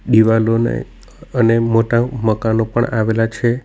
દિવાલોને અને મોટા મકાનો પણ આવેલા છે.